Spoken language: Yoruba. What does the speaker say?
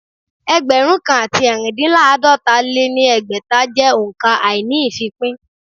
Ẹgbẹ̀rún kan àti ẹ̀rindínláàdọ́ta lé ní ẹgbẹ́ta jẹ́ òǹkà àíní-ìfípín